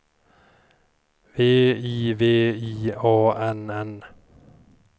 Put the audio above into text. V I V I A N N